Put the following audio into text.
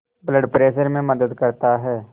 blood pressure में मदद करता है